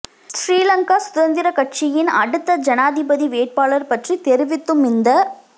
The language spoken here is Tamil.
ஶ்ரீலங்கா சுதந்திர கட்சியின் அடுத்த ஜனாதிபதி வேட்பாளர் பற்றி தெரிவித்த துமிந்த